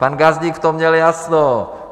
Pan Gazdík v tom měl jasno.